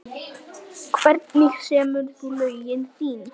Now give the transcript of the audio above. Hvernig semur þú lögin þín?